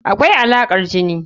Akwai Alaƙar jini.